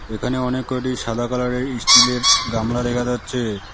এখানে অনেক কয়টি সাদা কালারের ইস্টিলের গামলা দেখা যাচ্ছে।